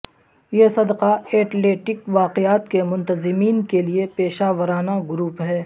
یہ صدقہ ایٹلیٹک واقعات کے منتظمین کے لئے پیشہ ورانہ گروپ ہے